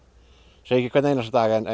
segi ekki hvern einasta dag en